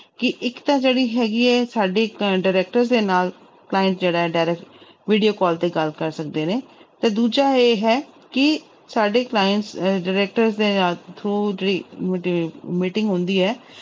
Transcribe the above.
ਕਿ ਇੱਕ ਤਾਂ ਜਿਹੜੀ ਹੈਗੀ ਹੈ ਸਾਡੇ ਅਹ director ਦੇ ਨਾਲ client ਜਿਹੜਾ ਹੈ direct video call ਤੇ ਗੱਲ ਕਰ ਸਕਦੇ ਨੇ ਤੇ ਦੂਜਾ ਇਹ ਹੈ ਕਿ ਸਾਡੇ clients ਅਹ director ਦੇ ਨਾਲ through ਜਿਹੜੀ ਮੀਟ~ meeting ਹੁੰਦੀ ਹੈ,